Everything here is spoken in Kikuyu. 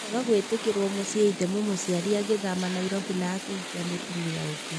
Nĩ kwaga gwĩtĩkĩrwo muciĩ ithe mũmũciari agĩthamĩra Nairobi na akĩhikia mũtumia ũngi.